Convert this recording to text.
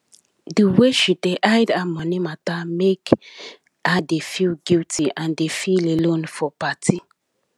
di way she dey hide her money matter make her dey feel guilty and dey feel alone for party